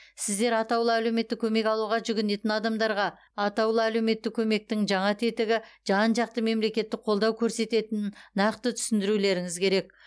сіздер атаулы әлеуметтік көмек алуға жүгінетін адамдарға атаулы әлеуметтік көмектің жаңа тетігі жан жақты мемлекеттік қолдау көрсететінін нақты түсіндірулеріңіз керек